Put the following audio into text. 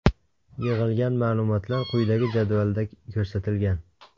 Yig‘ilgan ma’lumotlar quyidagi jadvalda ko‘rsatilgan.